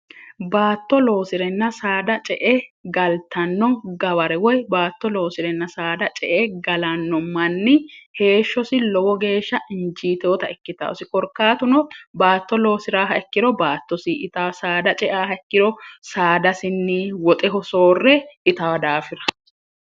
baatto loosi'renna saada ce e galtanno gabare woy baatto loosi'renna saada ce e galanno manni heeshshosi lowo geeshsha injiiteota ikkitaasi korkaatuno baatto loosi'raaha ikkiro baattosi ita saada ceaha ikkiro saadasinni woxe hosoorre ita daafira